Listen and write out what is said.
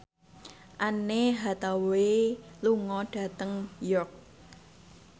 Anne Hathaway lunga dhateng York